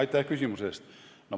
Aitäh küsimuse eest!